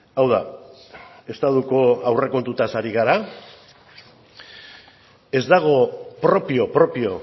hau da estatuko aurrekontuetaz ari gara ez dago propio propio